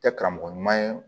Tɛ karamɔgɔ ɲuman ye